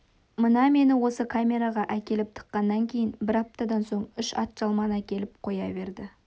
мына мені осы камераға әкеліп тыққаннан кейін бір аптадан соң үш атжалман әкеліп қоя берді